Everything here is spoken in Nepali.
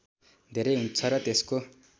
धेरै हुन्छ र त्यसको